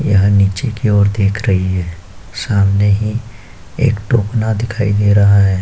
यह नीचे की ओर देख रही है। सामने ही एक टोकना दिखाई दे रहा है।